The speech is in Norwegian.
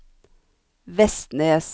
Vestnes